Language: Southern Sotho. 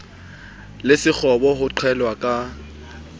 le sekgobo ho qhellwa ka